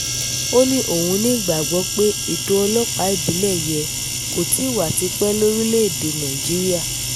ó ní òun ní ìgbàgbọ́ pé ètò ọlọ́pàá ìbílẹ̀ yẹ kó ti wà tipẹ́ lórílẹ̀-èdè nàìjíríà